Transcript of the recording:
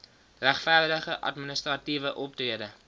regverdige administratiewe optrede